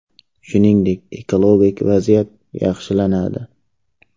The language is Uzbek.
Shuningdek, ekologik vaziyat yaxshilanadi.